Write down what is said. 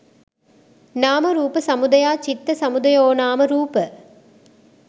නාම රූප සමුදයා චිත්ත සමුදයෝනාම රූප